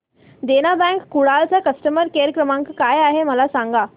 देना bank Kudal चा customer care क्रमांक काय आहे मला सांगा